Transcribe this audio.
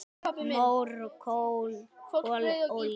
Mór, kol, olía